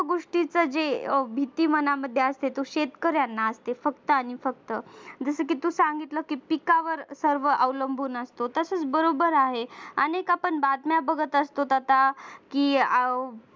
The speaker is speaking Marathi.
सर्व गोष्टीच जे भीती मनामध्ये असते तो शेतकऱ्यांना असते फक्त आणि फक्त जसं की तू सांगितलं की पिकावर सर्व अवलंबून असतं तसेच बरोबर आहे आपण बातम्या बघत असतो आता की